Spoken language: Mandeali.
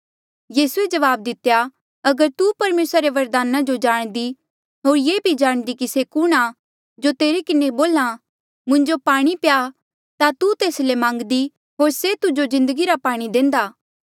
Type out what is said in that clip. यीसूए जवाब दितेया अगर तू परमेसरा रे वरदाना जो जाणदी होर ये भी जाणदी कि से कुणहां जो तेरे किन्हें बोल्हा मुंजो पाणी प्या ता तू तेस ले मांगदी होर से तुजो जिन्दगी रा पाणी देंदा